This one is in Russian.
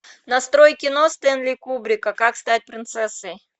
настрой кино стенли рубрика как стать принцессой